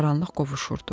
Qaranlıq qovuşurdu.